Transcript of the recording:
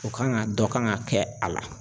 O kan ŋa dɔ kan ŋa kɛ a la.